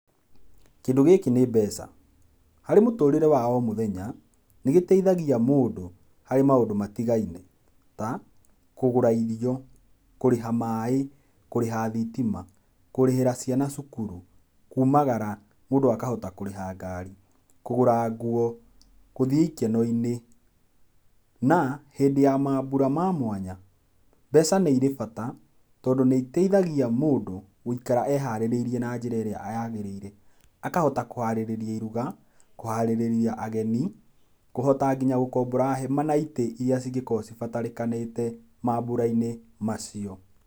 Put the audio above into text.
Kĩndũ gĩkĩ nĩ mbeca, harĩ mũtũrĩre wa o mũthenya, nĩgĩteithagia mũndũ harĩ maũndũ matigaine ta kũgũra irio, kũrĩha maaĩ, kũrĩha thitima, kũrĩhĩra ciana cukuru, kumagara mũndũ akahota kũrĩha ngari, kũgũra ngũo gũthii ikeno-ini. Na hĩndĩ ya maambura ma mwanya mbeca nĩirĩ bata tondũ nĩiteithagia mũndũ gũikara eharĩirie na njĩra ĩrĩa yagĩrĩire, akahota kũharĩrĩria iruga, kũharĩrĩria ageni ,kũhota nginya gũkombora hema na itĩ iria cingĩkorwo cibatarĩkanĩte maambura-inĩ macio.